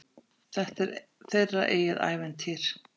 Þetta er þeirra eigið ævintýr.